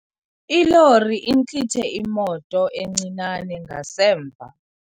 Ilori intlithe imoto encinane ngasemva.